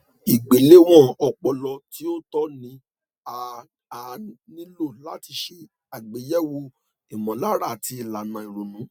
ìgbéléwọn ọpọlọ tí ó tọ ni a a nílò láti ṣe àgbéyẹwò ìmọlára àti ìlànà ìrònú